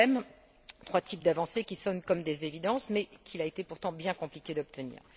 Trois thèmes, trois types d'avancées qui sonnent comme des évidences mais qu'il a été, pourtant, bien compliqué d'obtenir.